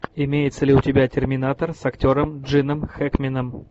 имеется ли у тебя терминатор с актером джином хэкменом